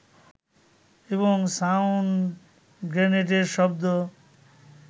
এবং সাউন্ড গ্রেনেডের শব্দ